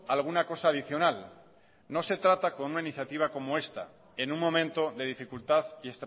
alguna cosa adicional no se trata con una iniciativa como esta en un momento de dificultad y